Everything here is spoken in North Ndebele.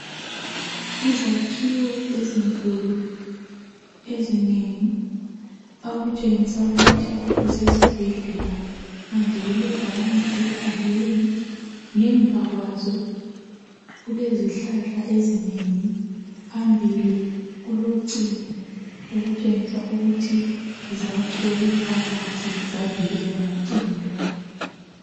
Izakhiwo ezinkulu ezinengi okutshengisa ukuthi kusesibhedlela, phandle kulebhakane elibhaliweyo, ngemva kwazo kulezihlahla ezinengi, phambili kulocingo okutshengisa ukuthi zakhelwe phakathi zavikelwa ngocingo lolu.